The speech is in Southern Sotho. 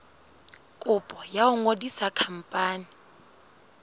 kopo ya ho ngodisa khampani